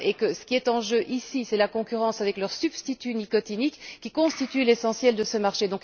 Ce qui est en jeu ici, c'est la concurrence avec son substitut nicotinique, qui constitue l'essentiel de ce marché.